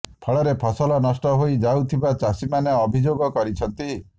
ଫଳରେ ଫସଲ ନଷ୍ଟ ହୋଇ ଯାଉଥିବା ଚାଷୀମାନେ ଅଭିଯୋଗ କରିଛନ୍ତି